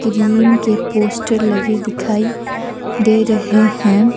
Cream के poster लगे दिखाई दे रहे हैं।